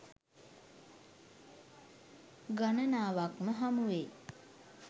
ගණනාවක්ම හමුවෙයි.